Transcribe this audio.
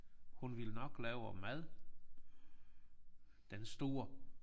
Hun vil nok lave mad den store